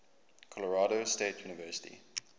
colorado state university